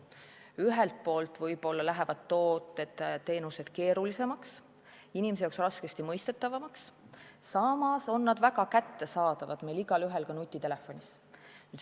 Ühelt poolt lähevad tooted-teenused keerulisemaks, inimese jaoks raskemini mõistetavaks, samas on need väga kättesaadavad, paljudel ka nutitelefoni abil.